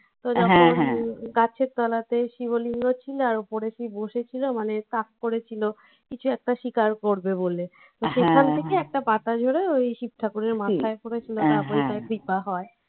তো যখন গাছের তলাতে শিবলিঙ্গ ছিল আর উপরে শিব বসেছিল মানে তাক করেছিল কিছু একটা শিকার করবে বলে পাতা ঝরে ওই শিবঠাকুরের মাথায় পরেছিল তারপরে কৃপা হয়।